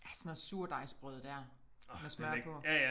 Ja sådan noget surdejsbrød dér med smør på